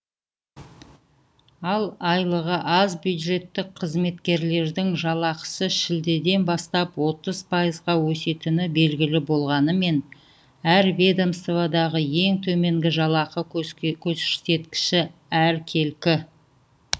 ал айлығы аз бюджеттік қызметкерлердің жалақысы шілдеден бастап отыз пайызға өсетіні белгілі болғанымен әр ведомстводағы ең төменгі жалақы көрсеткіші әркелкі